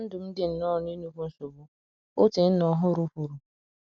na ndụm di nnọọ na inukwu nsogbu, otu onye nna ọhuru kwuru